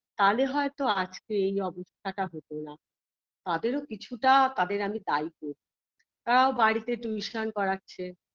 তালে হয়তো আজকে এই অবস্থাটা হতো না তাদেরও কিছুটা তাদের আমি দায়ী করি তারাও বাড়িতে tuition পড়াচ্ছে